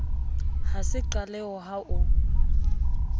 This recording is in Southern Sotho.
ha se qaleho ha o